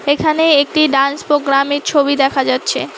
এখানে একটি dance programme -এর ছবি দেখা যাচ্ছে।